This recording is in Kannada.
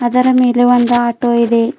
ಅದರ ಮೇಲೆ ಒಂದು ಆಟೋ ಇದೆ.